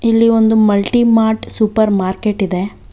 ಇಲ್ಲಿ ಒಂದು multi mart supermarket ಇದೆ .